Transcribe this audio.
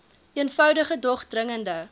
eenvoudige dog dringende